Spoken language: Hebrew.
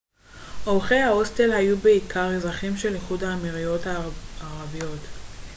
אורחי ההוסטל היו בעיקר אזרחים של איחוד האמירויות הערביות